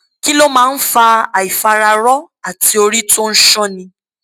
kí ló máa ń fa àìfararọ àti orí tó ń sánni